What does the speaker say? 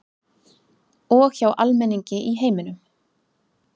Og hjá almenningi í heiminum